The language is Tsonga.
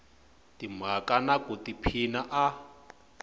timhaka na ku tiphina a